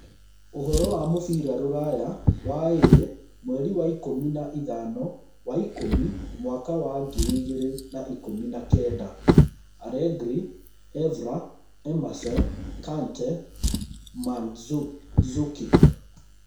Ũhoro wa mũbira rũraya waĩrĩ mweri ikũmi na ithano wa ikũmi mwaka wa ngiri igĩrĩ na ikũmi na kenda: Allegri, Evra, Emerson, Kante, Mandzukic